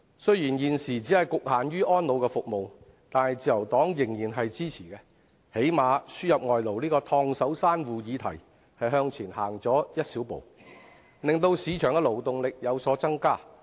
雖然此舉只局限於安老服務，但自由黨仍然予以支持，因為起碼在輸入外勞這個"燙手山芋"議題上向前走了一小步，令市場的勞動力有所增加。